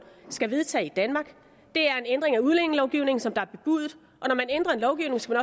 skal vedtage i danmark det er en ændring af udlændingelovgivningen som der er bebudet og når man ændrer en lovgivning skal